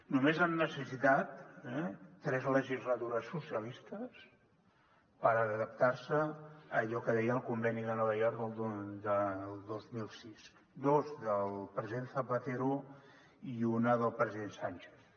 només han necessitat tres legislatures socialistes per adaptar se a allò que deia el conveni de nova york del dos mil sis dos del president zapatero i una del president sánchez